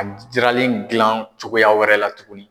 A jiralen dilan cogoyaya wɛrɛ la tuguni.